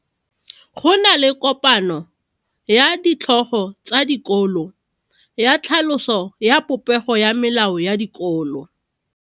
Go na le kopano ya ditlhogo tsa dikolo ya tlhaloso ya popego ya melao ya dikolo.